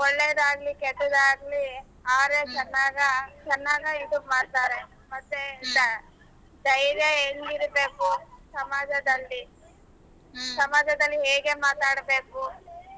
ಒಳ್ಳೇದಾಗಲಿ ಕೆಟ್ಟದಾಗಲಿ ಅವರೇ ಚೆನ್ನಾಗ ಚೆನ್ನಾಗ ಇದು ಮಾಡ್ತಾರೆ ಮತ್ತೆ ಧೈರ್ಯ ಎಂಗಿರಬೇಕು ಸಮಾಜದಲ್ಲಿ ಸಮಾಜದಲ್ಲಿ ಹೇಗೆ ಮಾತಾಡಬೇಕು.